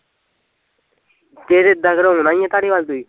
ਫਿਰ ਏਦਾਂ ਕਰੋ ਆਉਣਾ ਈ ਧਾਰੀਵਾਲ ਤੁਸੀਂ